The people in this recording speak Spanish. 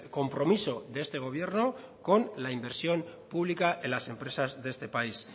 compromiso de este gobierno con la inversión pública en las empresas de este país